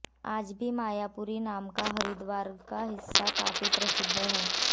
आज भी मायापुरी नाम का हरिद्वार का हिस्सा काफी प्रसिद्ध है